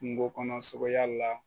Kungo kɔnɔ sogoya la